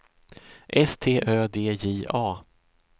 S T Ö D J A